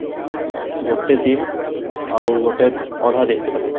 ଗୋଟେ ଦିନ ଆଉ ଗୋଟେ ଅଧା ଦିନ କେତେ ଲାଗିଯିବ?